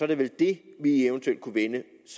det vel det vi eventuelt